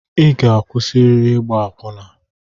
I ga-akwụsịrịrị ịgba akwụna!